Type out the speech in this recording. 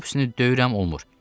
Topsini döyürəm olmur.